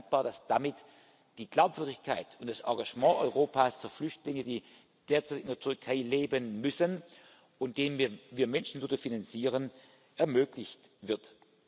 Ich bin dankbar, dass damit die Glaubwürdigkeit und das Engagement Europas für Flüchtlinge, die derzeit in der Türkei leben müssen und denen wir Menschenwürde finanzieren, ermöglicht wird.